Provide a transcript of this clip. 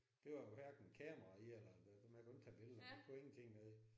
Der var hverken kamera i eller det man kunne ikke tage billeder man kunne ingenting med det